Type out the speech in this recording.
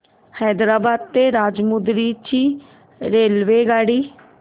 हैदराबाद ते राजमुंद्री ची रेल्वेगाडी